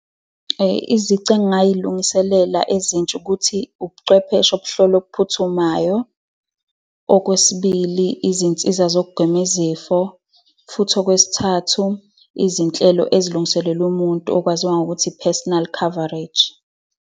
Izici engingayilungiselela ezintsha ukuthi ubuchwepheshe obuhlola okuphuthumayo. Okwesibili, izinsiza zokugwema izifo. Futhi okwesithathu, izinhlelo esilungiselelwa umuntu, okwaziwa ngokuthi i-personal coverage.